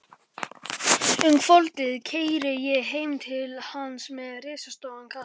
Um kvöldið keyri ég heim til hans með risastóran kassa.